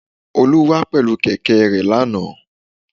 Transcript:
Olú wá pèlé kèké e re lánàá